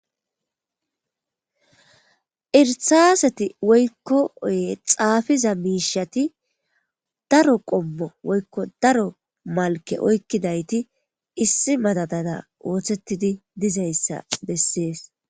Irsaaseti woykko oye xaafiza miishati daro qommo woykko daro malke oykkidayti issi madadada ooththettidi dizayssa bessees.